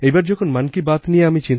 এইবার যখন মন কি বাত নিয়ে আমি